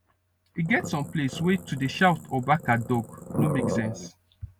e get some place wey to dey shout or bark at dog no make sense